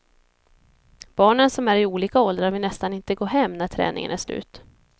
Barnen som är i olika åldrar vill nästan inte gå hem när träningen är slut.